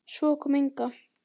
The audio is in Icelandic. Svo kom Inga.